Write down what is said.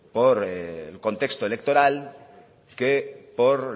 por el contexto electoral que por